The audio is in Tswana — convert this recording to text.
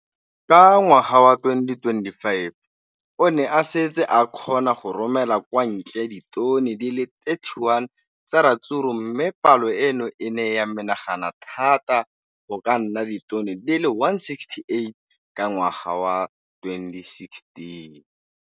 Ka ngwaga wa 2015, o ne a setse a kgona go romela kwa ntle ditone di le 31 tsa ratsuru mme palo eno e ne ya menagana thata go ka nna ditone di le 168 ka ngwaga wa 2016.